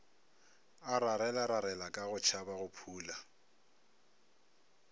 a rarelararela ka go tšhabagophula